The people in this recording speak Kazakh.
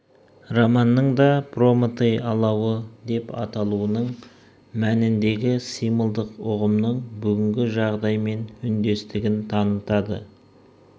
романның да прометей алауы деп аталуының мәніндегі символдық ұғымының бүгінгі жағдаймен үндестігін танытады